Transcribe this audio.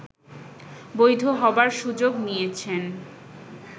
বৈধ হবার সুযোগ নিয়েছেন